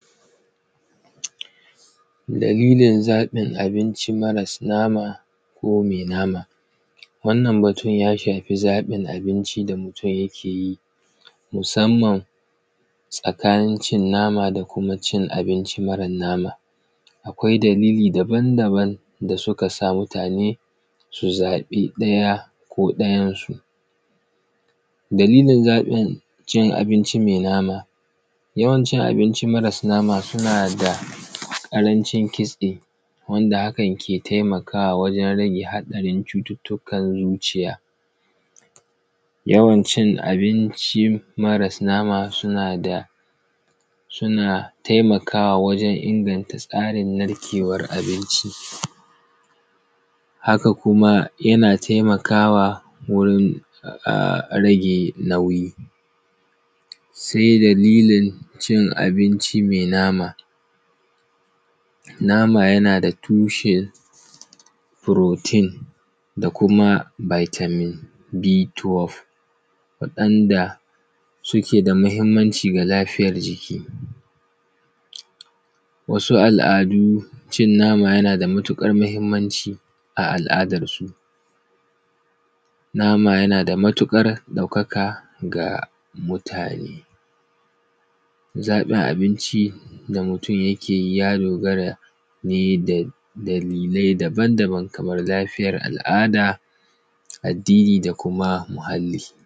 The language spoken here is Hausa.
Dalilin zaƃin abini maras nama ko me nama. Wannan batun ya shafi zaƃin abinci da mutun yake yi, musamman tsakanin cin nama da kuma cin abinci maran nama. Akwai dalili dabandaban da suka sa mutane su zaƃi ɗaya ko ɗayan su. Dalilin zaƃin cin abinci me nama, yawancin abinci maras nama suna da ƙarancin kitse wanda hakan ke temakawa wajen rage haɗarin cututtukan zuciya. Yawan cin abinci maras nama suna da; suna temakawa wajen inganta tsarin narkewar abinci. Haka kuma, yana temakawa wurin a; rage nauyi. Se dalilin cin abinci me nama, nama yana da tushen “protein” da kuma “vitamin B12” waɗanda suke da mahimmanci ga lafiyar jiki. Wasu al’adu, cin nama yana da matiƙar mahimmanci a al’adarsu, nama yana da matuƙar ɗaukaka ga mutane. Zaƃin abinci da mutun yake yi ya dogara ne da; dalile dabandaban kamar lafiyar al’ada, addini da kuma muhalli.